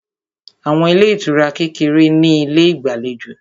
Àwọn ilé ìtura kékeré ní ilé ìgbàlejò